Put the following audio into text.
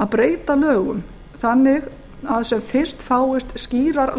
að breyta lögum þannig að sem fyrst fáist skýrar